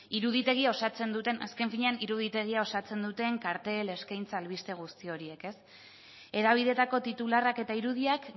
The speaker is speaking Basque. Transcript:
azken finean iruditegia osatzen duten kartel eskaintza albisteguzti horiek hedabideetako titularrak eta irudiak